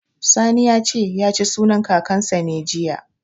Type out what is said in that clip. Sani ya ce, ya ci sunan Kakansa ne, jiya.